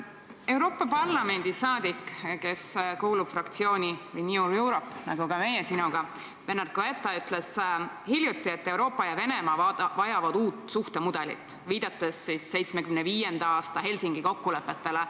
Euroopa Parlamendi saadik Bernard Guetta, kes kuulub fraktsiooni Renew Europe, nagu ka meie sinuga, ütles hiljuti, et Euroopa ja Venemaa vajavad uut suhtemudelit, viidates 1975. aasta Helsingi kokkulepetele.